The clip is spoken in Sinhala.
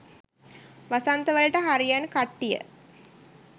වසන්ත වලට හරියන් කට්ටිය